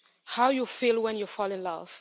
how you feel when you fall in love